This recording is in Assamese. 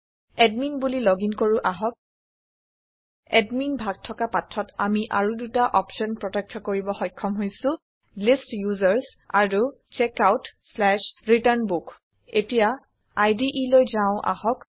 এডমিন বুলি লগিন কৰো আহক এদমিন ভাগ থকা পাঠত আমি আৰু দুটা অপচন প্ৰত্যক্ষ কৰিব সক্ষম হৈছো লিষ্ট ইউচাৰ্ছ আৰু checkoutৰিটাৰ্ণ বুক এতিয়া ইদে লৈ যাও আহক